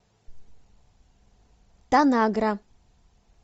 танагра